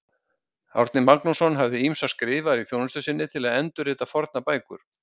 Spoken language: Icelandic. Árni Magnússon hafði ýmsa skrifara í þjónustu sinni til að endurrita fornar bækur.